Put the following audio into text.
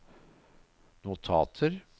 notater